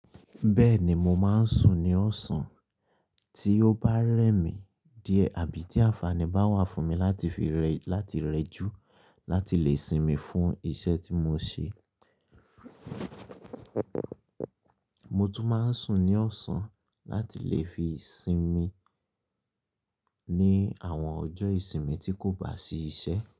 Bẹ́ẹ̀ni mo máa ń sùn ní ọ̀sán, tí ó bá rẹ́ mi díẹ̀ àbí tí àǹfààní bá wà fún mi láti fi rẹ́ láti rẹ jù láti lè sinmi fún iṣẹ́ tí mo ṣe. Mo tún máa ń sùn ní ọ̀sán láti lè fi sinmi ní àwọn ọjọ́ ìsinmi tí kò bá sí iṣẹ́.